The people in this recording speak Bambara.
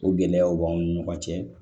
O gɛlɛyaw b'anw ni ɲɔgɔn cɛ